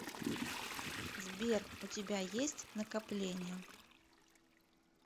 сбер у тебя есть накопления